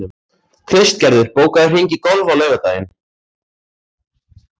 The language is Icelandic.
Kristgerður, bókaðu hring í golf á laugardaginn.